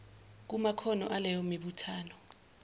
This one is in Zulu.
kumakhono aleyo mibuthano